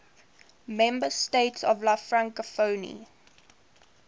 member states of la francophonie